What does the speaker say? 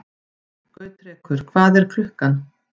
Gautrekur, hvað er klukkan?